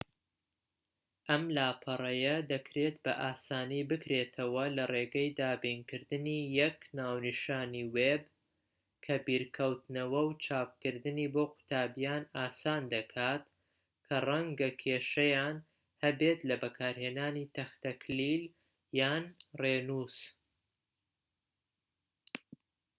ئەم لاپەڕەیە دەکرێت بە ئاسانی بکرێتەوە لە ڕێگەی دابینکردنی یەک ناونیشانی وێب کە بیرکەوتنەوە و چاپکردنی بۆ قوتابیان ئاسان دەکات کە ڕەنگە کێشەیان هەبێت لە بەکارهێنانی تەختەکلیل یان ڕێنووس